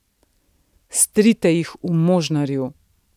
Strite jih v možnarju.